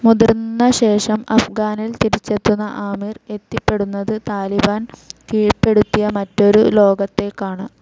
മുതിർന്ന ശേഷം അഫ്ഗാനിൽ തിരിച്ചെത്തുന്ന ആമിർ എത്തിപ്പെടുന്നത് താലിബാൻ കീഴ്പ്പെടുത്തിയ മറ്റൊരു ലോകത്തേക്കാണ്.